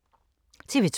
TV 2